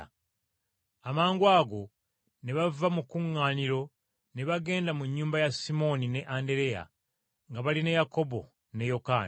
Amangwago ne bava mu kkuŋŋaaniro ne bagenda mu nnyumba ya Simooni ne Andereya nga bali ne Yakobo ne Yokaana.